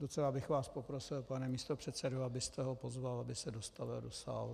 Docela bych vás poprosil, pane místopředsedo, abyste ho pozval, aby se dostavil do sálu.